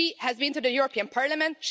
She has been to the European Parliament